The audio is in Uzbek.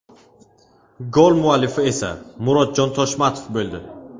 Gol muallifi esa Murodjon Toshmatov bo‘ldi.